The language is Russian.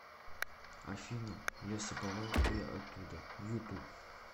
афина лесоповал я оттуда ютуб